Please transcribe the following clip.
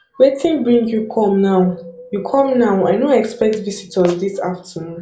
wetin bring you come now you come now i no expect visitors this afternoon